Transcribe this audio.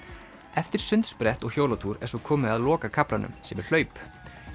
eftir sundsprett og hjólatúr er svo komið að lokakaflanum sem er hlaup